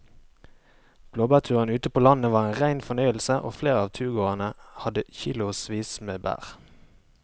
Blåbærturen ute på landet var en rein fornøyelse og flere av turgåerene hadde kilosvis med bær.